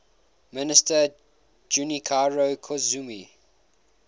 minister junichiro koizumi